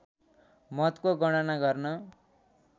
मतको गणना गर्न